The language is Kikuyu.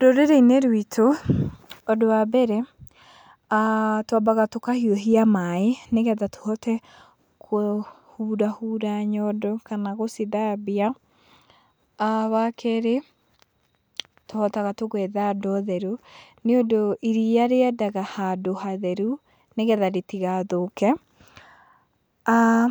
Rũrĩrĩ-inĩ rwitũ, ũndũ wa mbere twambaga aah tũkahiũhia maĩ, nĩgetha tũhote kũhura hura nyondo kana gũcithambia. Wa kerĩ, tũhotaga tũgetha ndoo theru nĩũndũ iria rĩendaga handũ hatheru, nĩgetha rĩtigathũke. aah